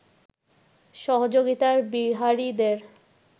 সহযোগিতায় বিহারীদের